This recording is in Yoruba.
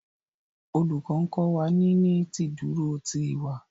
Olùkó nkó wá ní ní ìdúró tí ìwà